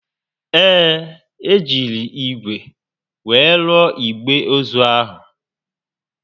Ee, e jiri ígwè were rụọ igbe ozu ahụ